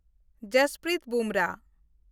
Jasprit Bumrah